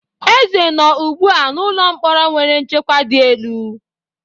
Eze nọ ugbu a n'ụlọ mkpọrọ nwere nchekwa di elu.